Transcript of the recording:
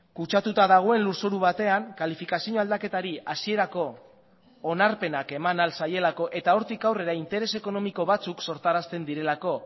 kutsatuta dagoen lurzoru batean kalifikazio aldaketari hasierako onarpenak eman ahal zaielako eta hortik aurrera interes ekonomiko batzuk sortarazten direlako